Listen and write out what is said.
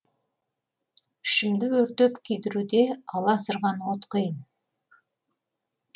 ішімді өртеп күйдіруде аласұрған от құйын